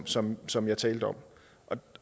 som som jeg talte om